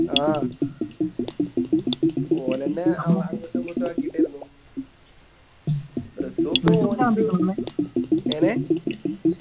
ആ ഓലെന്നെ അങ്ങോട്ടും ഇങ്ങോട്ടു ആക്കിട്ടാരുന്നു റസ്സുപ്പോ എങ്ങനെ